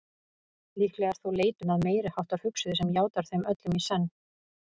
Líklega er þó leitun að meiriháttar hugsuði sem játar þeim öllum í senn.